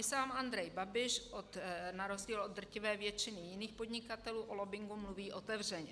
I sám Andrej Babiš na rozdíl od drtivé většiny jiných podnikatelů o lobbingu mluví otevřeně.